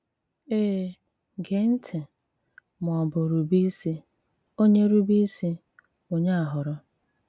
Èe, géè ntị̀, mà ọ̀ bụ̀ rùbé̀ ísì, Onye rùbé̀ ísì, Onye a họ́ọrọ̀.